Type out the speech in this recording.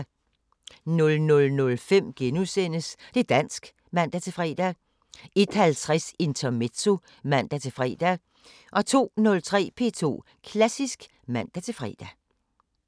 00:05: Det´ dansk *(man-fre) 01:50: Intermezzo (man-fre) 02:03: P2 Klassisk (man-fre)